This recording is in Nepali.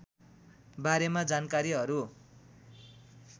बारेमा जानकारीहरू